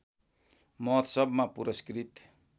महोत्सवमा पुरस्कृत